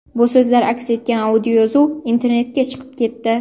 Bu so‘zlar aks etgan audioyozuv internetga chiqib ketdi.